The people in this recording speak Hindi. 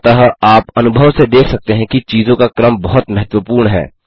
अतः आप अनुभव से देख सकते हैं कि चीज़ों का क्रम बहुत महत्वपूर्ण है